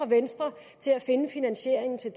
venstre til at finde finansieringen til